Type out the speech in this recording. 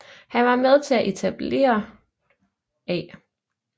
Han var med til at etableret A